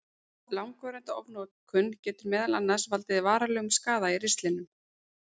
Langvarandi ofnotkun getur meðal annars valdið varanlegum skaða í ristlinum.